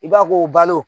I b'a ko balo